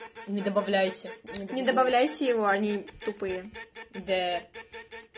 не добавляйся не добавляйте его они тупые